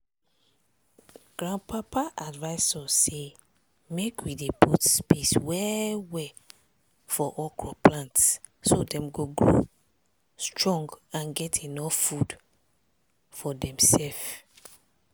grandpapa advice us say make we dey put space well well for okro plant so dem go grow strong and get enuf food for demsef.